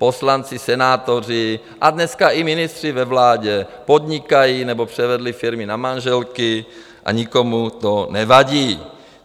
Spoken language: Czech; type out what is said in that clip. Poslanci, senátoři a dneska i ministři ve vládě podnikají nebo převedli firmy na manželky a nikomu to nevadí.